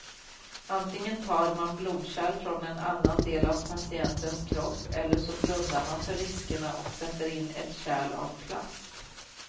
Antingen tar man blodkärl från en annan del av patientens kropp eller så blundar man för riskerna och sätter in ett kärl av plast.